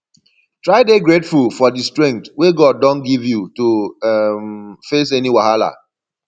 try dey grateful for di strength wey god don give you to um face any wahala